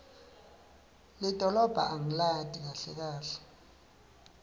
lidolobha angilati kahle kahle